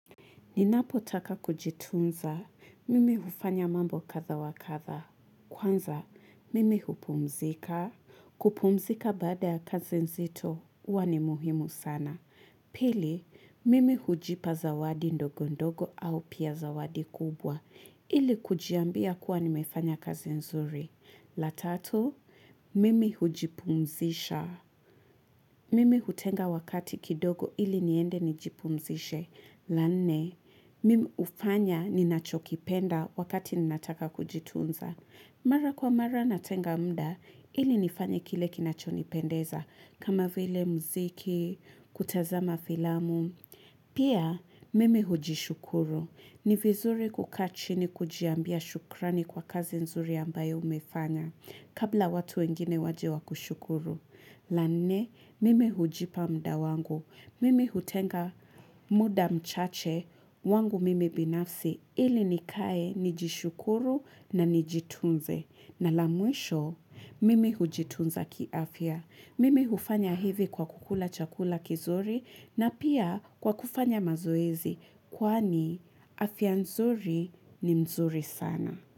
Ninapotaka kujitunza. Mimi hufanya mambo kadha wa kadha. Kwanza, mimi hupumzika. Kupumzika baada ya kazi nzito huwa ni muhimu sana. Pili, mimi hujipa zawadi ndogo ndogo au pia zawadi kubwa ili kujiambia kuwa nimefanya kazi nzuri. La tatu, mimi hujipumzisha. Mimi hutenga wakati kidogo ili niende nijipumzishe. La nne, mimi ufanya ninachokipenda wakati ninataka kujitunza. Mara kwa mara natenga mda ili nifanye kile kinachonipendeza. Kama vile mziki, kutazama filamu. Pia mimi hujishukuru. Ni vizuri kukaa chini kujiambia shukrani kwa kazi nzuri ambayo umefanya. Kabla watu wengine waje wakushukuru. La nne mimi hujipa mda wangu. Mimi hutenga muda mchache wangu mimi binafsi ili nikae nijishukuru na nijitunze. Na la mwisho, mimi hujitunza kiafya. Mimi hufanya hivi kwa kukula chakula kizuri na pia kwa kufanya mazoezi. Kwaani, afya nzuri ni mzuri sana.